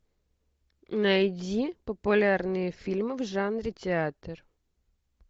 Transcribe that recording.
найди популярные фильмы в жанре театр